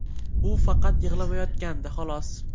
U faqat yig‘lamayotgandi, xolos.